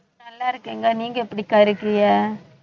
நல்லா இருக்கேன் அக்கா நீங்க எப்படிக்கா இருக்கீங்க